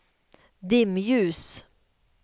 dimljus